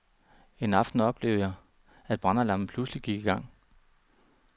En aften oplevede jeg, at brandalarmen pludselig gik i gang.